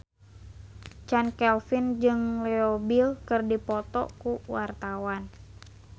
Chand Kelvin jeung Leo Bill keur dipoto ku wartawan